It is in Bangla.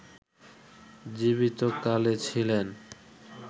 জীবিত কালে ছিলেন